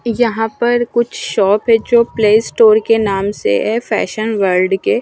यहां पर कुछ शॉप है जो प्ले स्टोर के नाम से है फैशन वर्ल्ड के।